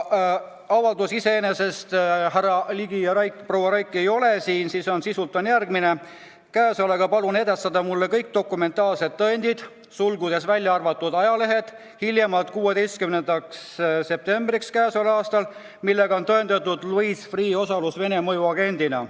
Avaldus – härra Ligi ja proua Raiki ei ole siin – on sisult järgmine: käesolevaga palun edastada mulle kõik dokumentaalsed tõendid hiljemalt k.a 16. septembriks, millega on tõendatud Louis Freeh' osalus Vene mõjuagendina.